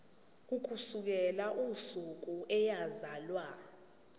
ukusukela usuku eyazalwa